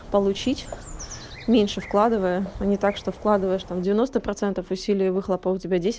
получить меньше вкладывая они так что вкладываешь там девяносто процентов усилий а выхлопа у тебя десять